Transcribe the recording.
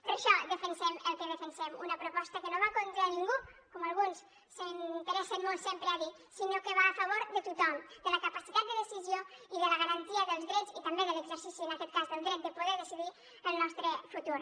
per això defensem el que defensem una proposta que no va contra ningú com alguns s’interessen molt sempre a dir sinó que va a favor de tothom de la capacitat de decisió i de la garantia dels drets i també de l’exercici en aquest cas del dret de poder decidir el nostre futur